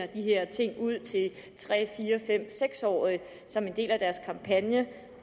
de her ting ud til tre fire fem seks årige som en del af deres kampagne